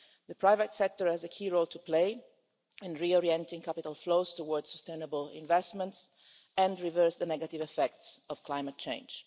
The private sector has a key role to play in reorienting capital flows towards sustainable investments and reversing the negative effects of climate change.